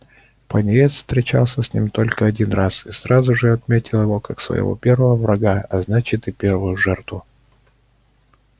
пониетс встречался с ним только один раз и сразу же отметил его как своего первого врага а значит и первую жертву